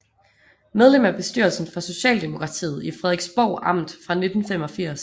Medlem af bestyrelsen for Socialdemokratiet i Frederiksborg Amt fra 1985